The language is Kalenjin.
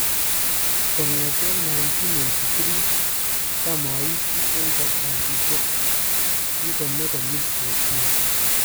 Kong'eteen 1983 tam aiiti en kartasisyeek , kikomee konyiil 14